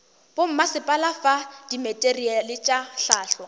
bommasepala fa dimateriale tša hlahlo